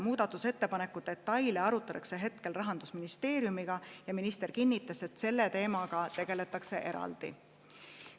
Muudatusettepaneku detaile arutatakse hetkel Rahandusministeeriumiga ja minister kinnitas, et selle teemaga tegeletakse eraldi.